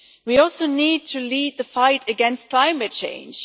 We also need to lead the fight against climate change.